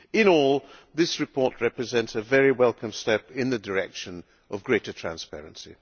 In all, this report represents a very welcome step in the direction of greater transparency.